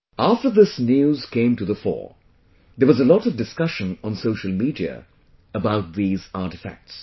After this news came to the fore, there was a lot of discussion on social media about these artefacts